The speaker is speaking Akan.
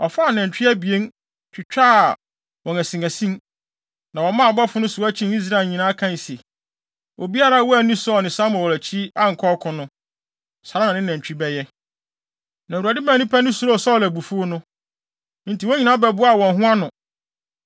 Ɔfaa anantwi abien, twitwaa wɔn asinasin, na wɔmaa abɔfo no soa kyinii Israel nyinaa, kae se, “Obiara a wanni Saulo ne Samuel akyi ankɔ ɔko no, saa ara na ne nantwi bɛyɛ!” Na Awurade maa nnipa no suroo Saulo abufuw no. Enti wɔn nyinaa bɛboaa wɔn ho ano.